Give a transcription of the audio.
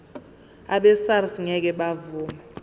abesars ngeke bavuma